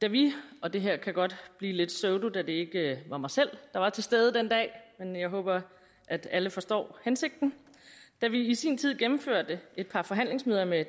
da vi og det her kan godt blive lidt pseudo da det ikke var mig selv der var til stede den dag men jeg håber at alle forstår hensigten i sin tid gennemførte et par forhandlingsmøder med